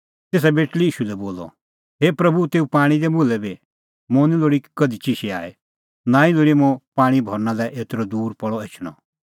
तेसा बेटल़ी ईशू लै बोलअ हे प्रभू तेऊ पाणीं दै मुल्है बी मुंह निं लोल़ी कधि चिशै आई नांईं लोल़ी मुंह पाणीं भरना लै एतरअ दूर पल़अ एछणअ